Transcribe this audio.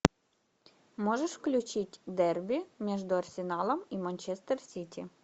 можешь включить дерби между арсеналом и манчестер сити